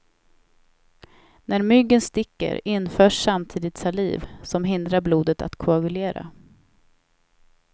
När myggen sticker införs samtidigt saliv som hindrar blodet att koagulera.